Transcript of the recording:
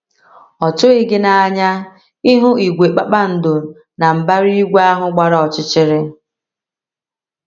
Ọ́ tụghị gị n’anya ịhụ ìgwè kpakpando na mbara igwe ahụ gbara ọchịchịrị?